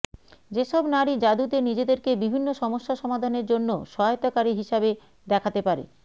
যেসব নারী যাদুতে নিজেদেরকে বিভিন্ন সমস্যা সমাধানের জন্য সহায়তাকারী হিসাবে দেখাতে পারে